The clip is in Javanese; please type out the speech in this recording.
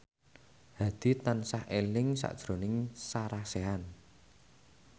Hadi tansah eling sakjroning Sarah Sechan